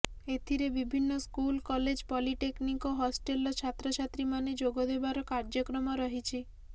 ଏଥିରେ ବିଭିନ୍ନ school college polytechnic ଓ ହଷ୍ଟେଲର ଛାତ୍ରଛାତ୍ରୀମାନେ ଯୋଗଦେବାର କାର୍ଯ୍ୟକ୍ରମ ରହିଛି